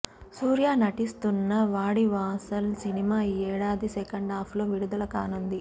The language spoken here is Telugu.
సూర్య నటిస్తున్న వాడివాసల్ సినిమా ఈ ఏడాది సెకండాఫ్ లో విడుదల కానుంది